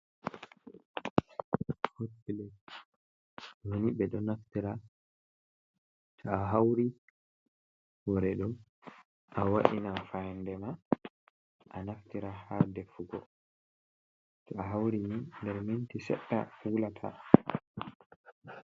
Hotplate doni bedo naftira to a hauri horedo a wa’inan fayande ma a naftira ha deffugo ,to a hauri ni nder minti sedda wulata.